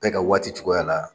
Bɛɛ ka waati cogoya la.